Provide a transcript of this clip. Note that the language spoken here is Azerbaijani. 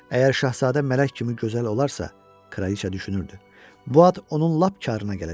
Əgər Şahzadə mələk kimi gözəl olarsa, Kraliça düşünürdü, bu ad onun lap karına gələcək.